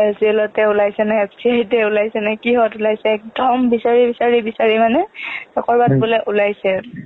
IOCL তে ওলাইছেনে FCI তে ওলাইছে কিহত ওলাইছে একদম বিছাৰি বিছাৰি মানে ক'ৰবাত বোলে ওলাইছে